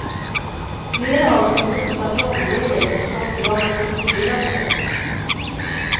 Flera av dem är bosatta i området där skottdramat utspelade sig.